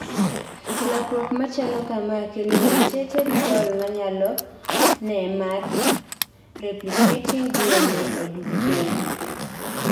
Lokruok machalo kamaa kelu mutated pol manyalone mar replicating DNA oduk piny